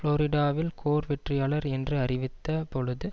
புளோரிடாவில் Gore வெற்றியாளர் என்று அறிவித்த பொழுது